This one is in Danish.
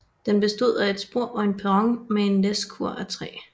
Den bestod af et spor og en perron med et læskur af træ